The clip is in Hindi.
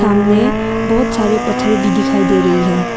सामने बहुत सारे पथरे भी दिखाई दे रही है।